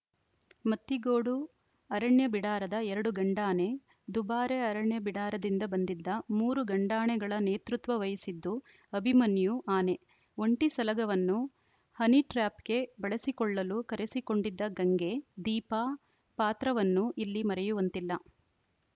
ಮತ್ತಿಗೋಡು ಅರಣ್ಯ ಬಿಡಾರದ ಎರಡು ಗಂಡಾನೆ ದುಬಾರೆ ಅರಣ್ಯ ಬಿಡಾರದಿಂದ ಬಂದಿದ್ದ ಮೂರು ಗಂಡಾನೆಗಳ ನೇತೃತ್ವ ವಹಿಸಿದ್ದು ಅಭಿಮನ್ಯು ಆನೆ ಒಂಟಿ ಸಲಗವನ್ನು ಹನಿಟ್ರ್ಯಾಪ್‌ಗೆ ಬಳಸಿ ಕೊಳ್ಳಲು ಕರೆಸಿಕೊಂಡಿದ್ದ ಗಂಗೆ ದೀಪಾ ಪಾತ್ರವನ್ನೂ ಇಲ್ಲಿ ಮರೆಯುವಂತಿಲ್ಲ